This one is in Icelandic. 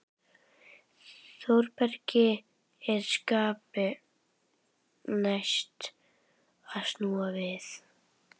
Þórbergi er skapi næst að snúa við.